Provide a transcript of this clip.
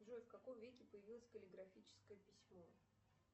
джой в каком веке появилось каллиграфическое письмо